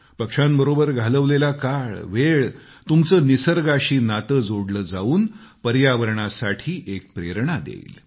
पक्ष्यांबरोबर घालवलेला काळ वेळ तुमचे निसर्गाशी नाते जोडले जाऊन पर्यावरणासाठी एक प्रेरणा देईल